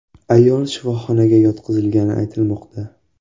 Ayol shifoxonaga yotqizilgani aytilmoqda.